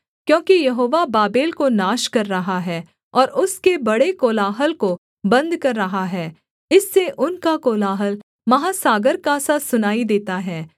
क्योंकि Jehovah Babel को नाश कर रहा है और उसके बड़े कोलाहल को बन्द कर रहा है इससे उनका कोलाहल महासागर का सा सुनाई देता है